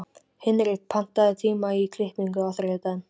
Hinrik, pantaðu tíma í klippingu á þriðjudaginn.